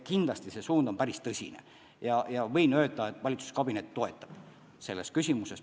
See suund on päris kindel ja võin öelda, et valitsuskabinet toetab mind selles küsimuses.